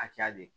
Hakɛya de